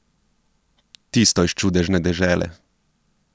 Tisto iz Čudežne dežele.